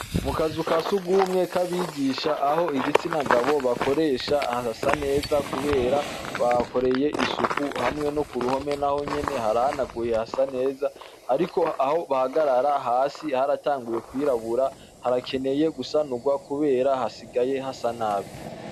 Akazu ka sugumwe kabigisha ,aho igitsina gabo bakoresha harasa neza kubera bahakoreye isuku hamwe no kuruhome naho nyene harahanaguye hasa neza, ariko aho bahagarara hasi haratanguye kw'irabura harakeneye gusanurwa kubera hasigaye hasa nabi.